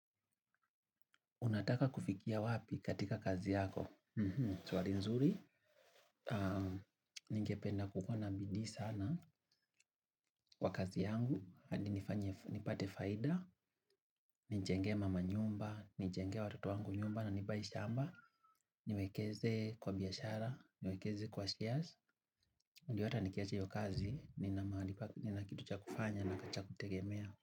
Unataka kufikia wapi katika kazi yako? Swali nzuri. Ningependa kukuwa na bidii sana kwa kazi yangu. Adi nipate faida. Nijenge mama nyumba, nijengee watoto wangu nyumba na ni buy shamba. Niwekeze kwa biashara niwekeze kwa shares ndio hata nikiacha hiyo kazi nina mahali nina kitu cha kufanya na cha kujitegemea.